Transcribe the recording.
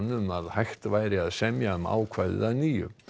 um að hægt væri að semja um ákvæðið að nýju